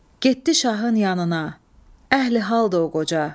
Getdi şahın yanına, əhli haldır o qoca.